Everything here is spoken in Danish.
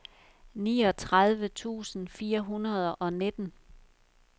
niogtredive tusind fire hundrede og nitten